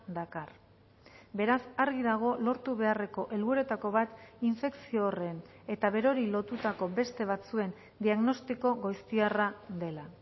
dakar beraz argi dago lortu beharreko helburuetako bat infekzio horren eta berori lotutako beste batzuen diagnostiko goiztiarra dela